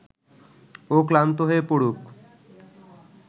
ও ক্লান্ত হয়ে পড়ুক